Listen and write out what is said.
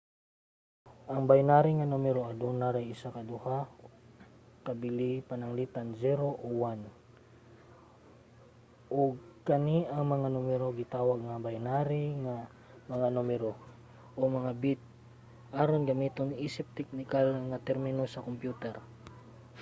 ang binary nga numero aduna ray isa sa duha ka bili pananglitan 0 o 1 ug kani nga mga numero gitawag nga binary nga mga numero - o mga bit aron gamiton isip teknikal nga termino sa kompyuter